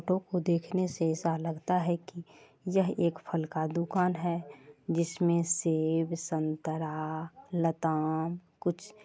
को देखने से ऐसा लगता है की यह एक एक फल की दुकान है जिसमे सेब संतरा लताम कुछ---